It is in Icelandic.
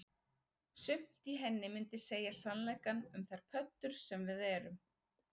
Sumt í henni myndi segja sannleikann um þær pöddur sem við erum